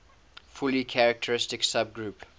fully characteristic subgroup